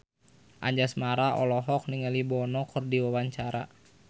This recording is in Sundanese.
Anjasmara olohok ningali Bono keur diwawancara